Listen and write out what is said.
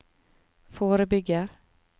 forebygger